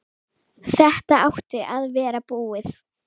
Þetta átti að vera búið.